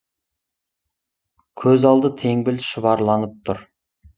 көз алды теңбіл шұбарланып тұр